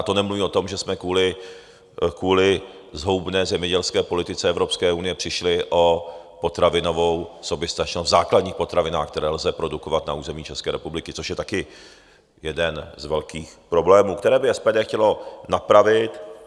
A to nemluvím o tom, že jsme kvůli zhoubné zemědělské politice Evropské unie přišli o potravinovou soběstačnost v základních potravinách, které lze produkovat na území České republiky, což je taky jeden z velkých problémů, které by SPD chtělo napravit.